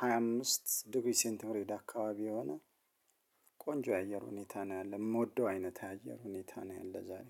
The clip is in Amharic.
ሃያ አምስት ዲግሪ ሴንት ግሬድ አካባቢ የሆነ። ቆንጆ የአየር ሁኔታ ነው ያለው የምወደው አይነት የአየር ሁኔታ ነው ያለው ዛሬ